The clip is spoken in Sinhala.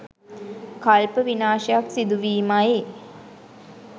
කල්ප විනාශයක් සිදු වීමයි